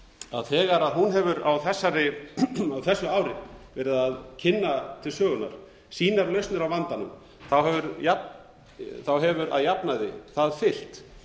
að þegar hún hefur á þessu ári verið að kynna til sögunnar sínar lausnir á vandanum hefur að jafnaði það fylgt